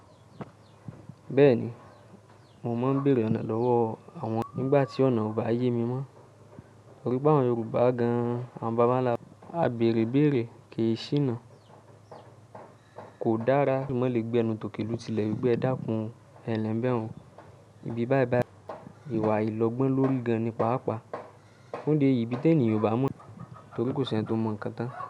Bẹ́ẹ̀ni, mo máa ń bèèrè ọ̀nà lọ́wọ́ àwọn, nígbà tí ọ̀nà ò bá yé mi mọ́. Torí pé àwọn Yorùbá gan-an àwọn baba ńlá, a bèèrè ibèèrè kì í ṣíná. Kò dára kí eeyan maa le gbẹnu tókè lu tìlẹ̀, wipe ẹdákún, ẹnlẹ ni bẹun, ibi báyí báyí, ìwà àìlọ́gbọ́n lórí gan-an ní paapaa. Fun idi èyí ibí tí ènìyàn ò bá mọ̀, torí kò sì ẹni tó mọ̀ ń kan tán.